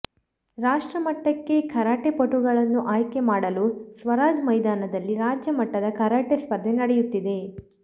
ರಾಷ್ಟ್ರಮಟ್ಟಕ್ಕೆ ಕರಾಟೆಪಟುಗಳನ್ನು ಆಯ್ಕೆ ಮಾಡಲು ಸ್ವರಾಜ್ ಮೈದಾನದಲ್ಲಿ ರಾಜ್ಯ ಮಟ್ಟದ ಕರಾಟೆ ಸ್ಪರ್ಧೆ ನಡೆಯುತ್ತಿದೆ